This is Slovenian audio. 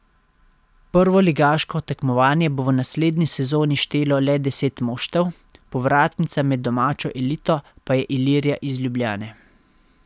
Prvoligaško tekmovanje bo v naslednji sezoni štelo le deset moštev, povratnica med domačo elito pa je Ilirija iz Ljubljane.